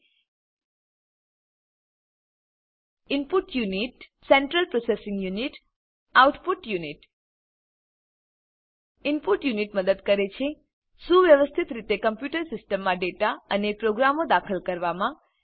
input unit input unit central processing unit central processing unit output unit output unit input unit મદદ કરે છે સુવ્યવસ્થિત રીતે computer સિસ્ટમમાં ડેટા અને પ્રોગ્રામો દાખલ કરવામાં